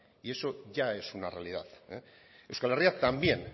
y eso ya es una realidad euskal herria también